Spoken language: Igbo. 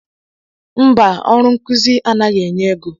Mba ọrụ nkụzi anaghị enye égo.